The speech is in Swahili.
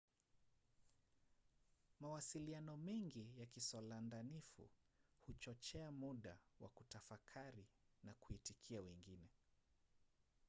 mawasiliano mengi ya kisolandanifu huchochea muda wa kutafakari na kuitikia wengine